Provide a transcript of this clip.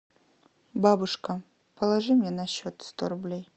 бабушка положи мне на счет сто рублей